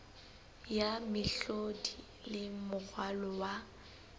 ya mehlodi le moralo wa